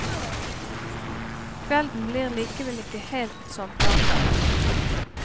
Kvelden blir likevel ikke helt som planlagt.